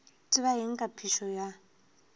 tseba eng ka phišo ya